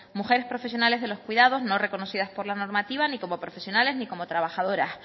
mujeres profesionales de los cuidados no reconocidas por la normativa ni como profesionales ni como trabajadora